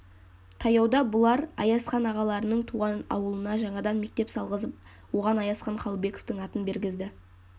таяуда бұлар аязхан ағаларының туған ауылына жаңадан мектеп салғызып оған аязхан қалыбековтың атын бергізді